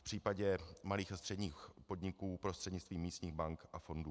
V případě malých a středních podniků prostřednictvím místních bank a fondů.